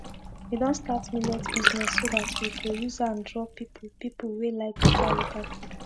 we don start millet business so dat we go use an draw pipu pipu wey like beta local food